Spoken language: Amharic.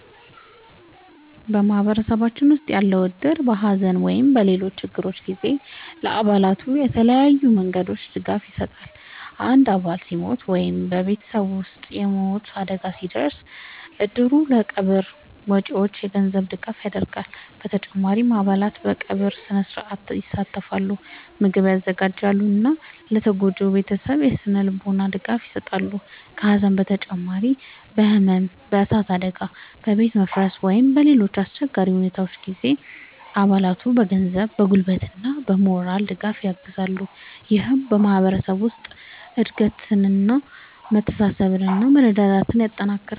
በማህበረሰባችን ውስጥ ያለው እድር በሐዘን ወይም በሌሎች ችግሮች ጊዜ ለአባላቱ በተለያዩ መንገዶች ድጋፍ ይሰጣል። አንድ አባል ሲሞት ወይም በቤተሰቡ ውስጥ የሞት አደጋ ሲደርስ፣ እድሩ ለቀብር ወጪዎች የገንዘብ ድጋፍ ያደርጋል። በተጨማሪም አባላት በቀብር ሥነ-ሥርዓት ይሳተፋሉ፣ ምግብ ያዘጋጃሉ እና ለተጎጂው ቤተሰብ የሥነ-ልቦና ድጋፍ ይሰጣሉ። ከሐዘን በተጨማሪ በሕመም፣ በእሳት አደጋ፣ በቤት መፍረስ ወይም በሌሎች አስቸጋሪ ሁኔታዎች ጊዜም አባላቱን በገንዘብ፣ በጉልበት እና በሞራል ድጋፍ ያግዛል። ይህም በማህበረሰቡ ውስጥ አንድነትን፣ መተሳሰብን እና መረዳዳትን ያጠናክራል።